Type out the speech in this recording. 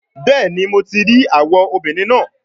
Bẹẹni, Mo ti rii awọ obinrin naa